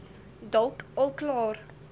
dalk al klaar